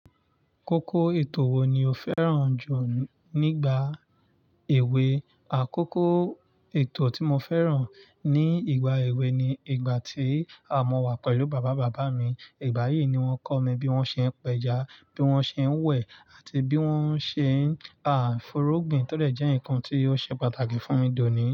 Kókó ètò wo ni o fẹ́ràn jù nígbà èwe? Àkókò ètò tí mo fẹ́ràn ní ìgbà èwe ni ìgbà tí mo wà pẹ̀lú bàbá bàbá mi. Ìgbà yìí ni wọ́n kọ́ mi bí wọ́n ṣe ń pẹja, bí wọ́n ṣe ń wẹ̀, àti bí wọ́n ṣe ń furugbìn tó dẹ̀ jẹ́ nǹkan tí ó ṣe pàtàkì fún mi dònì.